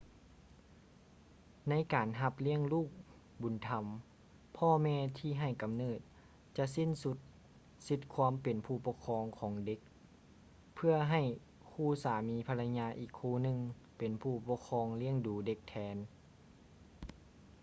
ໃນການຮັບລ້ຽງລູກບຸນທຳ ພໍ່ແມ່ທີ່ໃຫ້ກຳເນີດຈະສິ້ນສຸດສິດຄວາມເປັນຜູ້ປົກຄອງຂອງເດັກ ເພື່ອໃຫ້ຄູ່ສາມີພັນລະຍາອີກຄູ່ໜຶ່ງເປັນຜູ້ປົກຄອງລ້ຽງດູເດັກແທນ